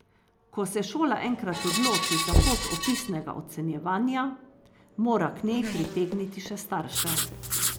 Ko se šola enkrat odloči za pot opisnega ocenjevanja, mora k njej pritegniti še starše.